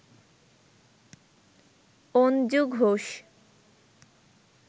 Anju Ghosh